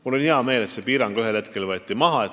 Mul on hea meel, et see piirang võeti ühel hetkel maha.